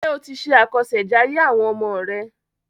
Ṣé o ti ṣe àkọṣèjayé àwọn ọmọ rẹ?